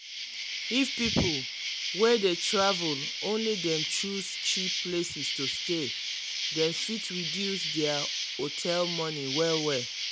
if people way dey travel only dem choose cheap places to stay dem fit reduce their hotel money well well.